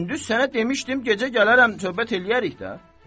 Gündüz sənə demişdim gecə gələrəm tövbət eləyərik də.